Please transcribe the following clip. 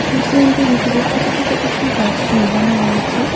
Nursing home টির ভিতরে ছোট ছোট কিছু গাছ লাগানো রয়েছে।